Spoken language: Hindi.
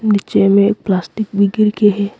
नीचे में एक प्लास्टिक भी गिर के है।